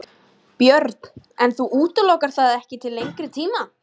Björn: En þú útilokar það ekki til lengri tíma?